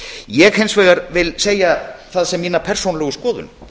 ég vil hins vegar segja það sem mína persónulegu skoðun